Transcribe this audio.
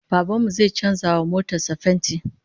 Baban mu zai canza wa motar sa fenti